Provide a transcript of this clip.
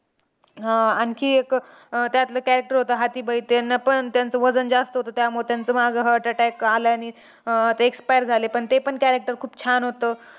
आह आणखी एक अह त्यातले character होतं हाथीभाई. त्यांनापण त्यांचं वजन जास्त होतं. त्यामुळे त्यांचा मागे heart attack आल्याने अह ते expire झाले. पण तेपण character खूप छान होतं.